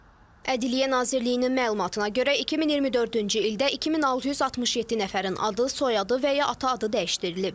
Ədliyyə Nazirliyinin məlumatına görə 2024-cü ildə 2667 nəfərin adı, soyadı və ya ata adı dəyişdirilib.